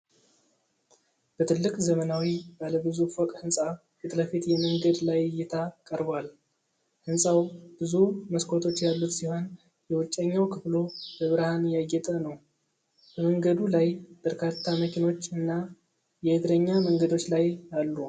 በትልቅ ዘመናዊ ባለ ብዙ ፎቅ ህንፃ ፊትለፊት የመንገድ ላይ እይታ ቀርቧል። ህንፃው ብዙ መስኮቶች ያሉት ሲሆን የውጨኛው ክፍሉ በብርሃን ያጌጠ ነው። በመንገዱ ላይ በርካታ መኪኖች እና የእግረኛ መንገዶች ላይ አሉ።